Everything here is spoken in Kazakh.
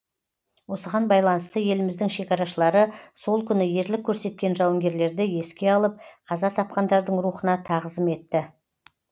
осыған байланысты еліміздің шекарашылары сол күні ерлік көрсеткен жауынгерлерді еске алып қаза тапқандардың рухына тағзым етті